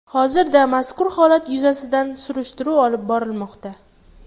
Hozirda mazkur holat yuzasidan surishtiruv olib borilmoqda.